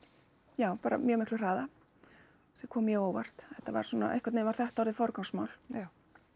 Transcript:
já bara mjög miklum hraða sem kom mjög á óvart þetta var svona einhvern veginn var þetta orðið forgangsmál já